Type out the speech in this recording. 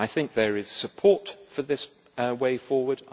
There is support for this way forward.